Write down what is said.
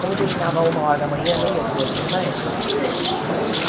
Como terminava uma hora da manhã, nem metrô tinha mais.